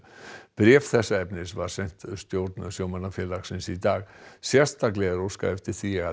bréf þessa efnis var sent stjórn sjómannafélagsins í dag sérstaklega er óskað eftir því að